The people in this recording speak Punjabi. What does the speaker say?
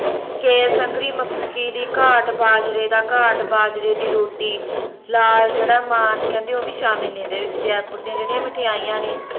ਕੇਸੰਗਰੀ ਮੱਕੀ ਦੀ ਘਾਟ ਬਾਜਰੇ ਦਾ ਘਾਟ ਬਾਜਰੇ ਦੀ ਰੋਟੀ ਲਾਲ ਜੇੜਾ ਮਾਨ ਆ ਕੈਂਦੇ ਓਹ ਵੀ ਕਹਿੰਦੇ ਸ਼ਾਮਿਲ ਨੇ ਏਹਦੇ ਵਿਚ ਜੈਪੁਰ ਦੀਆ ਜੇੜੀਆਂ ਮਿਠਿਆਈਆਂ ਨੇ